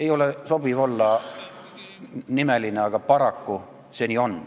Ei ole sobiv öelda nimesid, aga paraku see nii on.